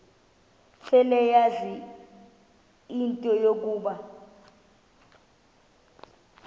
seleyazi into yokuba